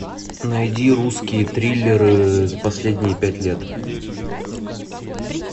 найди русские триллеры за последние пять лет